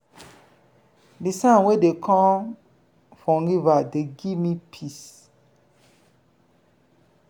di sound wey dey com from river dey give me peace.